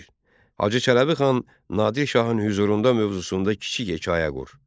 Bir: Hacı Çələbi xan Nadir şahın hüzurunda mövzusunda kiçik hekayə qur.